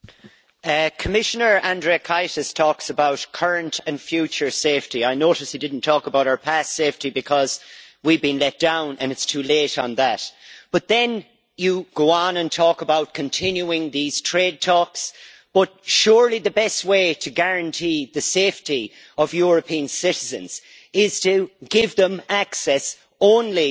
Madam President, Commissioner Andriukaitis talks about current and future safety. I notice he did not talk about our past safety because we have been let down and it is too late on that. Then he goes on to talk about continuing these trade talks, but surely the best way to guarantee the safety of European citizens is to give them access only